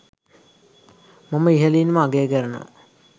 මම ඉහලින්ම අගය කරනවා